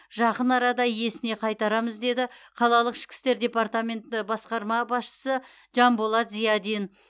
жақын арада иесіне қайтарамыз деді қалалық ішкі істер департаменті басқарма басшысы жанболат зиадин